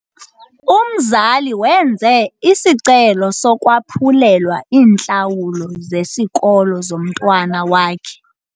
Umzali wenze isicelo sokwaphulelwa iintlawulo zesikolo zomntwana wakhe.